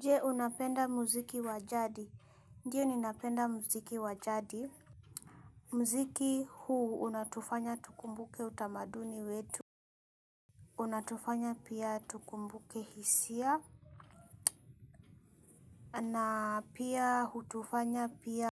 Jee unapenda muziki wa jadi. Ndiyo ninapenda muziki wa jadi. Mziki huu unatufanya tukumbuke utamaduni wetu. Unatufanya pia tukumbuke hisia. Na pia hutufanya pia.